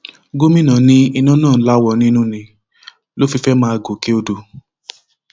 gomina ní iná náà láwọ nínú ni ló fi fẹẹ máa jó gòkè odò